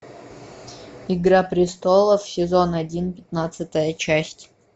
игра престолов сезон один пятнадцатая часть